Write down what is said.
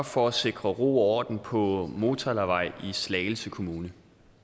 for at sikre ro og orden på motalavej i slagelse kommune